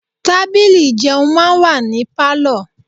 Tábìlì ìjẹun máa ń wà ní Pálọ̀.